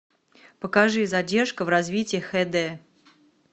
покажи задержка в развитии хд